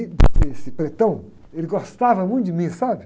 esse, ele gostava muito de mim, sabe?